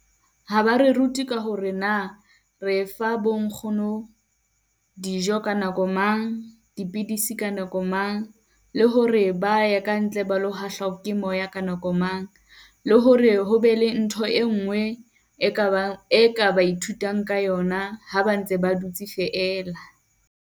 Ha ba re rute ka hore na re fa bo nkgono dijo ka nako mang, dipidisi ka nako mang, le hore ba ya ka ntle ba lo hahlwa ke moya ka nako mang? Le hore ho be le ntho e nngwe e ka bang e ka ba ithutang ka yona ha ba ntse ba dutse feela.